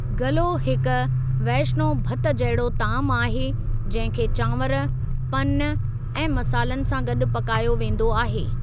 गल्हो हिकु वैशिनो भतु जहिड़ो तामु आहे जंहिं खे चांवर, पन ऐं मसालनि सां गॾु पकायो वेंदो आहे।